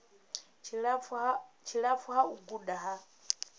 tshilapfu ha u guda ha